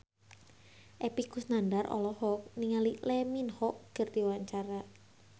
Epy Kusnandar olohok ningali Lee Min Ho keur diwawancara